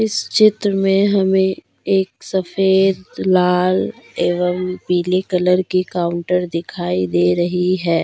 इस चित्र में हमें एक सफेद लाल एवं पीले कलर की काउंटर दिखाई दे रही है।